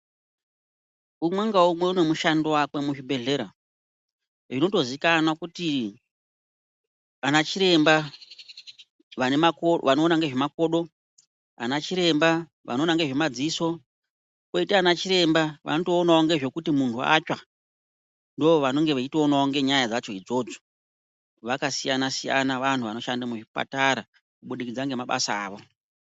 Umwe ngaumwe une mushando wake muzvibhedhlera unotoziikanwa kuti anachiremba anoona nezvemakodo. Anachiremba anoona ngezvemadziso. Kwotawo anachiremba anoona ngezvekuti munhu atsva ndovanenge veitoonawo ngenyaya dzacho idzodzo. Vakasiyana siyana vanhu vanoshanda muzvipatara kubudikidza ngemabasa avo.